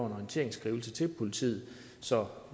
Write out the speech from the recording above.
en orienteringsskrivelse til politiet så